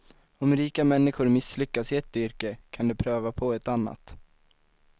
Om rika människor misslyckas i ett yrke, kan de pröva på ett annat.